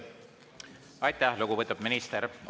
Aitäh, lugupeetud minister!